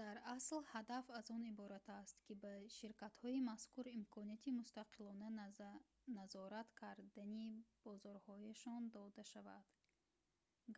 дар асл ҳадаф аз он иборат аст ки ба ширкатҳои мазкур имконияти мустақилона назорат кардани бозорҳояшон дода шавад